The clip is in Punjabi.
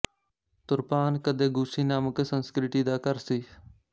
ਤੁਰਪਾਨ ਕਦੇ ਗੂਸ਼ੀ ਨਾਮਕ ਸੰਸਕ੍ਰਿਤੀ ਦਾ ਘਰ ਸੀ